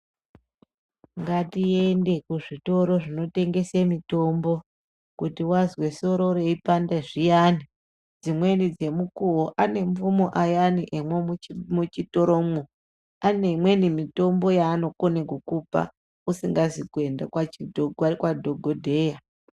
Ngatiende kuzvitoro zvinotengese mitombo kuti vazwe soro reipande zviyani. Dzimweni dzemukuvo anemvuno ayani emumuchitoromwo ane imweni mitombo yaanokone kukupa usingazvi kuenda kwadhogodheya.